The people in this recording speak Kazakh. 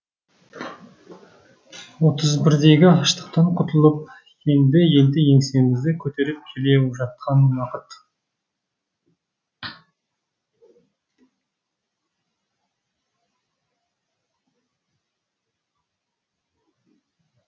отыз бірдегі аштықтан құтылып енді енді еңсемізді көтеріп келе жатқан уақыт